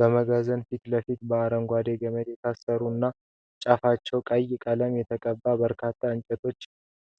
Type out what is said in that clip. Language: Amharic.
በመጋዘን ፊት ለፊት በአረንጓዴ ገመድ የታሰሩ እና ጫፋቸው ቀይ ቀለም የተቀባባቸው በርካታ የእንጨት